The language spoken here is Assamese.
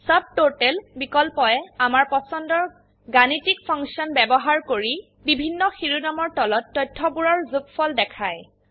সব টোটাল বিকল্পয়ে আমাৰ পছন্দৰ গাণিতিক ফাংশন ব্যবহাৰ কৰি বিভিন্ন শিৰোনামৰ তলত তথ্যবোৰৰ যোগফল দেখায়